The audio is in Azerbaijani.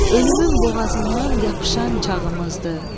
Ölümün boğazından yapışan çağımızdır.